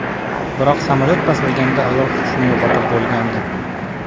Biroq samolyot pastlayotganda ayol hushini yo‘qotib bo‘lgandi.